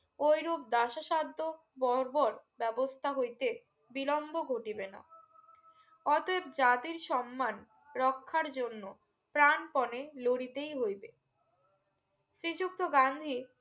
ওই রুপ দাসো সাদো বরবর ব্যবস্থা হইতে বিলম্ব ঘটিবে না অতএব জাতীর সম্মান রক্ষার জন্য প্রানপণে লড়িতেই হইবে শ্রী যুক্ত গান্ধী